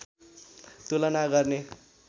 तुलना गर्ने